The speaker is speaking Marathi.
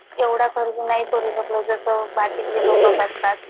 एवढा खर्च नाही करू शकलो जशा बाकीचे लोकं करतात